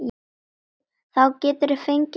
Þá geturðu fengið að drekka.